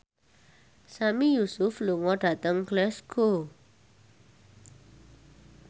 Sami Yusuf lunga dhateng Glasgow